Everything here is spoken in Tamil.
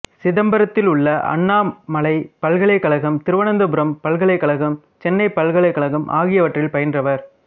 சிதம்பரத்திலுள்ள அண்ணாமலைப் பல்கலைக்கழகம் திருவனந்தபுரம் பல்கலைக்கழகம் சென்னை பல்கலைக்கழகம் ஆகியவற்றில் பயின்றவர்